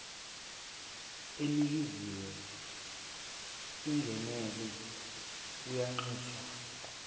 enikeziwe ingenele uyanxuswa